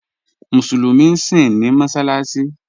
Musulumi síń ní mọ́ṣaláṣì